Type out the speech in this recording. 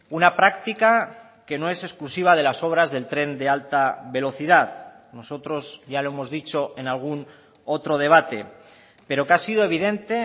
una práctica que no es exclusiva de las obras del tren de alta velocidad nosotros ya lo hemos dicho en algún otro debate pero que ha sido evidente